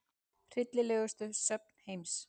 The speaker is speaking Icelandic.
Hryllilegustu söfn heims